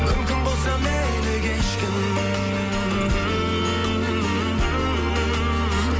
мүмкін болса мені кешкін